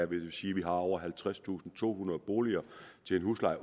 vil sige at vi har over halvtredstusinde og tohundrede boliger til en husleje